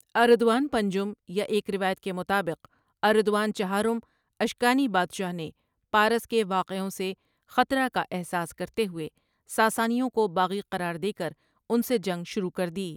اردوان پنجم یا ایک روایت کے مطابق اردوان چہارم اشکانی بادشاہ نے پارس کے واقعوں سے خطرہ کا احساس کرتے ہوے ساسانیوں کو باغی قرار دے کر ان سے جنگ شروع کردی۔